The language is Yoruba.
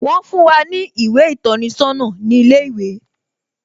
Wón fún wá ní ìwé ìtọ́ni sọ́nà ní ilé ìwé